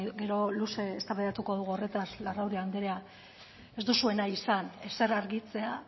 gero luze eztabaidatuko dugu horretaz larrauri andrea ez duzue nahi izan ezer argitzea